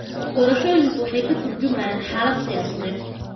Doorashooyinku waxay ka tarjumayeen xaaladda siyaasadeed.